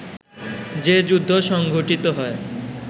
যে যুদ্ধ সংঘটিত হয়